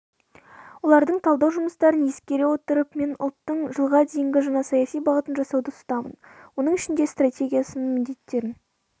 олардың талдау жұмыстарын ескере отырып мен ұлттың жылға дейінгі жаңа саяси бағытын жасауды ұсынамын оның ішінде стратегиясының міндеттерін